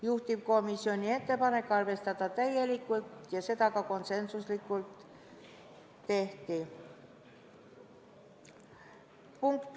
Juhtivkomisjoni ettepanek oli arvestada seda muudatusettepanekut täielikult ja seda ka konsensuslikult tehti.